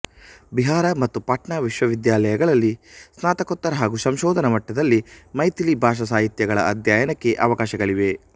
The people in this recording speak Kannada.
ಬಿಹಾರ ಮತ್ತು ಪಾಟ್ನಾ ವಿಶ್ವವಿದ್ಯಾಲಯಗಳಲಲ್ಲಿ ಸ್ನಾತಕೋತ್ತರ ಹಾಗೂ ಸಂಶೋಧನ ಮಟ್ಟದಲ್ಲಿ ಮೈಥಿಲೀ ಭಾಷಾಸಾಹಿತ್ಯಗಳ ಅಧ್ಯಯನಕ್ಕೆ ಅವಕಾಶಗಳಿವೆ